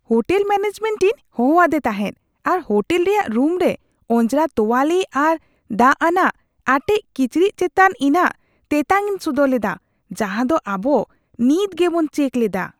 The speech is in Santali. ᱦᱳᱴᱮᱞ ᱢᱮᱱᱮᱡᱽᱢᱮᱱᱴ ᱤᱧ ᱦᱚᱦᱚ ᱟᱫᱮ ᱛᱟᱦᱮᱸᱫ ᱟᱨ ᱦᱳᱴᱮᱞ ᱨᱮᱭᱟᱜ ᱨᱩᱢᱨᱮ ᱚᱸᱡᱽᱨᱟ ᱛᱳᱣᱟᱞᱤ ᱟᱨ ᱫᱟᱜ ᱟᱱᱟᱜ ᱟᱴᱮᱫ ᱠᱤᱪᱨᱤᱡ ᱪᱮᱛᱟᱱ ᱤᱧᱟᱹᱜ ᱛᱮᱛᱟᱝᱼᱤᱧ ᱥᱚᱫᱚᱨ ᱞᱮᱫᱟ ᱡᱟᱦᱟᱸ ᱫᱚ ᱟᱵᱚ ᱱᱤᱛ ᱜᱮᱵᱚᱱ ᱪᱮᱠ ᱞᱮᱫᱟ ᱾